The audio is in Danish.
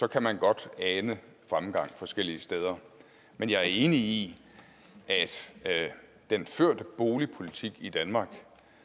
kan man godt ane fremgang forskellige steder men jeg er enig i at den førte boligpolitik i danmark